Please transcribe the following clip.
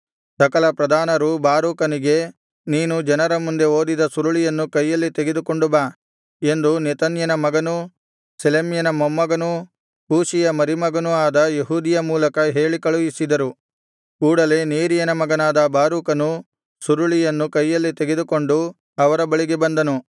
ಸಕಲ ಪ್ರಧಾನರು ಬಾರೂಕನಿಗೆ ನೀನು ಜನರ ಮುಂದೆ ಓದಿದ ಸುರುಳಿಯನ್ನು ಕೈಯಲ್ಲಿ ತೆಗೆದುಕೊಂಡು ಬಾ ಎಂದು ನೆಥನ್ಯನ ಮಗನೂ ಶೆಲೆಮ್ಯನ ಮೊಮ್ಮಗನೂ ಕೂಷಿಯ ಮರಿಮಗನೂ ಆದ ಯೆಹೂದಿಯ ಮೂಲಕ ಹೇಳಿ ಕಳುಹಿಸಿದರು ಕೂಡಲೆ ನೇರೀಯನ ಮಗನಾದ ಬಾರೂಕನು ಸುರುಳಿಯನ್ನು ಕೈಯಲ್ಲಿ ತೆಗೆದುಕೊಂಡು ಅವರ ಬಳಿಗೆ ಬಂದನು